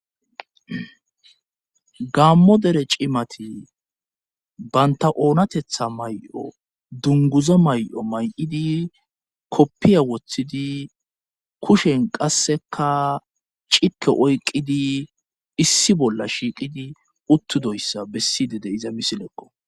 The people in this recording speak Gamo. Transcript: Gammo dere cimati banta oonatetha may7o dunguzo may7o may7idi koppiya woththidi kushen qasseka cike oyqidi issi bolla shiiqidi uttidoyssa bessi dede iza misileqo.